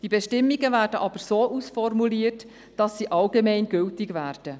Die Bestimmungen werden aber so ausformuliert, dass sie allgemeingültig sein werden.